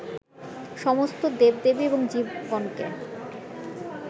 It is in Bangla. সমস্ত দেবদেবী এবং জীবগণকে